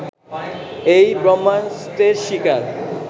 এই ব্রহ্মাস্ত্রের শিকার